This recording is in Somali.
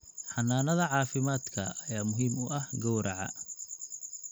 Xannaanada caafimaadka ayaa muhiim u ah gowraca.